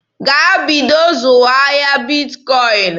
Gaa bido zụwa ahịa Bitkọin!